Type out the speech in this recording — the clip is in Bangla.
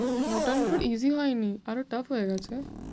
তো easy হয়নি, আরও tough হয়ে গেছে।